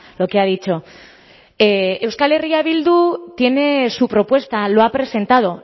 lo que ha dicho euskal herria bildu tiene su propuesta lo ha presentado